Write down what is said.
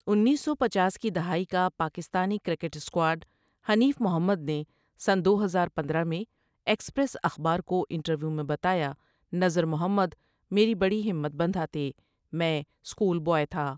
انیس سو پنچاس کی دہائی کا پاکستانی کرکٹ سکواڈحنیف محمد نے سنہ دو ہزار پندرہ میں ایکسپریس اخبار کو انٹرویو میں بتایا نذر محمد میری بڑی ہمت بندھاتے میںاسکول بوائے تھا۔